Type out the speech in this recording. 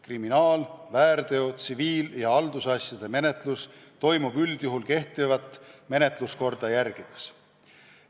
Kriminaal-, väärteo-, tsiviil- ja haldusasjade menetlus toimub üldjuhul kehtivat menetluskorda järgides.